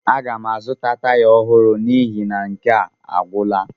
Aga m azụta taya ọhụrụ n'ihi na nke a agwụla.